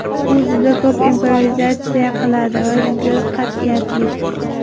U juda ko‘p improvizatsiya qiladi va juda qat’iyatli.